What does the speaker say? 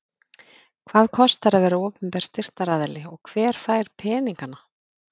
Hvað kostar að vera opinber styrktaraðili og hver fær peningana?